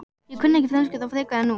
Ég kunni ekki frönsku þá frekar en nú.